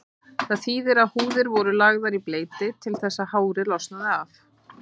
Það þýðir að húðir voru lagðar í bleyti til þess að hárið losnaði af.